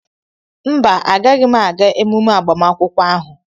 mba, agaghị m aga emume agbamakwụkwọ ahụ